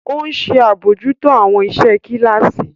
O nṣe abojuto awọn iṣẹ kilasi.